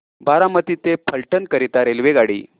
बारामती ते फलटण करीता रेल्वेगाडी